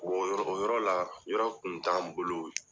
O yɔrɔ, o yɔrɔ la, yɔrɔ kun t'an bolo.